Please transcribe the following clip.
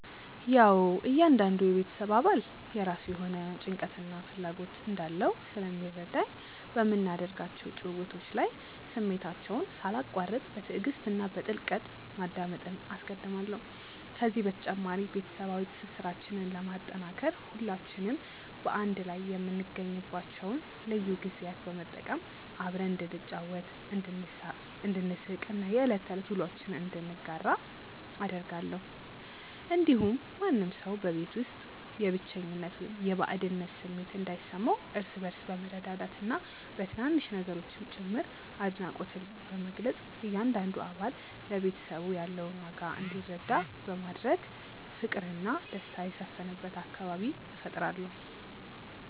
ያዉ እያንዳንዱ የቤተሰብ አባል የራሱ የሆነ ጭንቀትና ፍላጎት እንዳለው ስለሚረዳኝ፣ በምናደርጋቸው ጭውውቶች ላይ ስሜታቸውን ሳላቋርጥ በትዕግስት እና በጥልቀት ማዳመጥን አስቀድማለሁ። ከዚህ በተጨማሪ፣ ቤተሰባዊ ትስስራችንን ለማጠናከር ሁላችንም በአንድ ላይ የምንገኝባቸውን ልዩ ጊዜያት በመጠቀም አብረን እንድንጫወት፣ እንድንሳቅ እና የዕለት ተዕለት ውሎአችንን እንድንጋራ አደርጋለሁ። እንዲሁም ማንም ሰው በቤት ውስጥ የብቸኝነት ወይም የባዕድነት ስሜት እንዳይሰማው፣ እርስ በእርስ በመረዳዳትና በትናንሽ ነገሮችም ጭምር አድናቆትን በመግለጽ እያንዳንዱ አባል ለቤተሰቡ ያለውን ዋጋ እንዲረዳ በማድረግ ፍቅርና ደስታ የሰፈነበት አካባቢ እፈጥራለሁ።